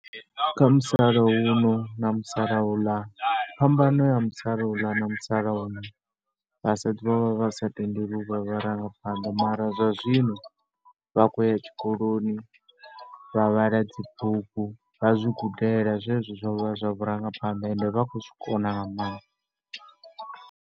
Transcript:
Kha musalauno na musalauḽa, phambano ya musalauḽa na musalauno, vhasadzi vho vha vha sa tendelwi u vha vharangaphanḓa mara zwa zwino vha khou ya tshikoloni, vha vhala dzibugu. Vha zwi gudela zwezwo zwa vhurangaphanḓa and vha khou zwi kona nga maanḓa.